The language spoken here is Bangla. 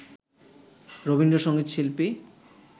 রবীন্দ্র সঙ্গীত শিল্পী